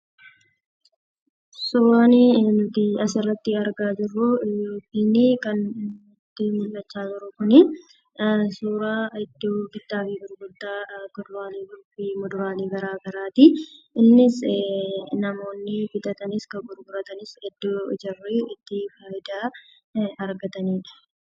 Suuraa nuti as irratti argaa jirru yookiin kan nuti mul'achaa jiru kuni, suuraa idoo bitaafi gurgurta kuduraleef muduralee gara garaati. Innis, Namooni bitatanis kan gurguratanis idoo jaarii itti fayyidaa argatanidha.